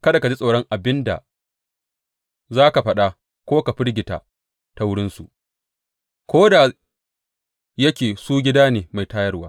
Kada ka ji tsoron abin da za ka faɗa ko ka firgita ta wurinsu, ko da yake su gida ne mai tawaye.